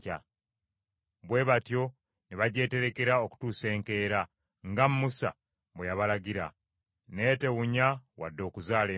Bwe batyo ne bagyeterekera okutuusa enkeera, nga Musa bwe yabalagira; n’etewunya wadde okuzaala envunyu.